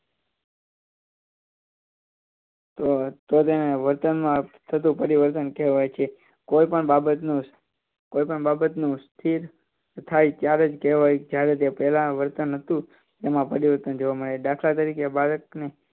તો તેને વતનમાં થતું ફેરફાર કહેવાય છે કોઈપણ બાબત કોઈપણ બાબતનું સ્થિતિ થાય ત્યારે જ કેહવાય છે જ્યારે પહેલા વતન હતું તેમાં પરીવર્તન જોવા મળે દાખલા તરીકે બાળકની